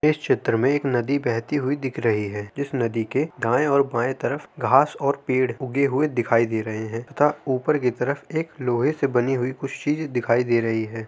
इस चित्र में एक नदी बहती हुई दिख रही है। इस नदी के दाए और बाए तरफ घास और पेड़ उगे हुए दिखाई दे रहे है तथा ऊपर की तरफ एक लोहे से बनी हुई कुछ चीजे दिखाई दे रही है।